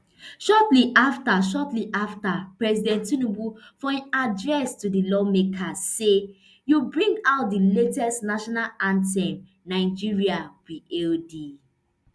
shortly afta shortly afta president tinubu for im address to di lawmakers say you bring out di latest national anthem nigeria we hail thee